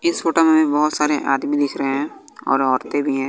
इस फोटो में भी बहोत सारे आदमी दिख रहे हैं और औरतें भी है।